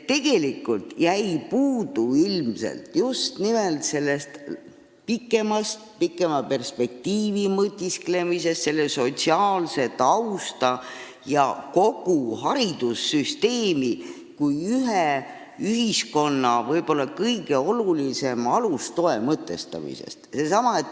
Tegelikult jäi ilmselt puudu just nimelt pikema perspektiivi üle mõtisklemisest, sotsiaalse tausta ja kogu haridussüsteemi kui ühiskonna ühe kõige olulisema alustoe mõtestamisest.